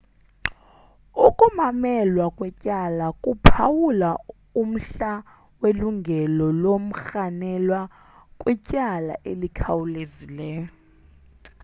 ukumamelwa kwetyala kuphawula umhla welungelo lomrhanelwa kwityala elikhawulezileyo